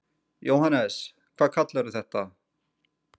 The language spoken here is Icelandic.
Jóhannes: Hvað kallarðu þetta?